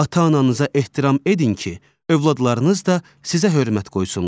Ata-ananıza ehtiram edin ki, övladlarınız da sizə hörmət qoysunlar.